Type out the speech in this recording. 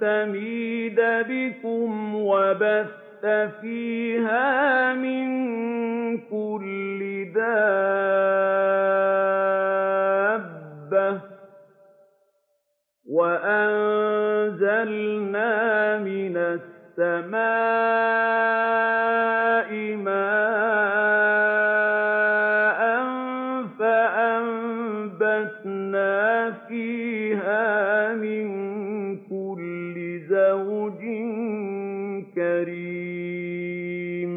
تَمِيدَ بِكُمْ وَبَثَّ فِيهَا مِن كُلِّ دَابَّةٍ ۚ وَأَنزَلْنَا مِنَ السَّمَاءِ مَاءً فَأَنبَتْنَا فِيهَا مِن كُلِّ زَوْجٍ كَرِيمٍ